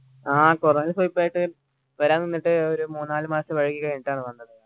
ആഹ് കുറെ ദിവസം ആയിട്ട് വരാൻ നിന്നിട്ട് ഒരു മൂന്നാല് മാസം വൈകി കഴിഞിട്ടാണ് വന്നത്